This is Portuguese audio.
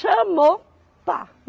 Chamou, pá!